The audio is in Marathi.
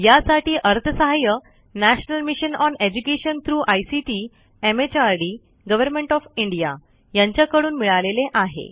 यासाठी अर्थसहाय्य national mission on education through ICT MHRD government of India यांच्याकडून मिळालेले आहे